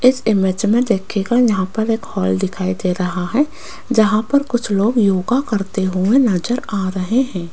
इस इमेज मे देखियेगा यहां पर एक हॉल दिखाई दे रहा है जहां पर कुछ लोग योगा करते हुए नज़र आ रहे है।